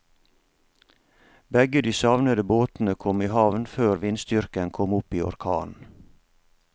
Begge de savnede båtene kom i havn før vindstyrken kom opp i orkan.